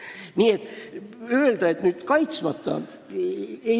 Nii et ei saa öelda, et keegi on kaitsmata.